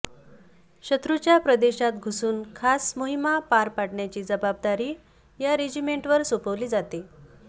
शत्रूच्या प्रदेशात घुसून खास मोहिमा पार पडण्याची जबाबदारी या रेजिमेंटवर सोपवली जाते